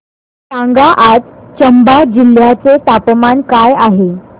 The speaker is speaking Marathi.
सांगा आज चंबा जिल्ह्याचे तापमान काय आहे